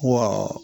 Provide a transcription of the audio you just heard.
Wa